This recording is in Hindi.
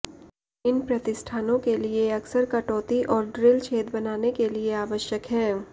इन प्रतिष्ठानों के लिए अक्सर कटौती और ड्रिल छेद बनाने के लिए आवश्यक हैं